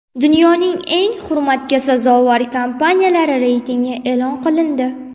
Dunyoning eng hurmatga sazovor kompaniyalari reytingi e’lon qilindi.